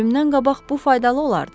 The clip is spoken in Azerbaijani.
Ölümdən qabaq bu faydalı olardı.